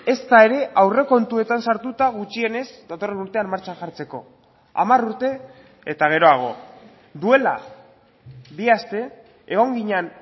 ezta ere aurrekontuetan sartuta gutxienez datorren urtean martxan jartzeko hamar urte eta geroago duela bi aste egon ginen